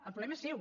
el problema és seu